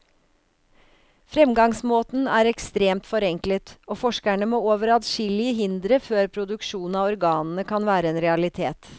Fremgangsmåten er ekstremt forenklet, og forskerne må over adskillige hindre før produksjon av organene kan være en realitet.